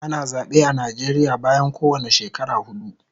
Ana zabe a Nijeria bayan kowane shekara hudu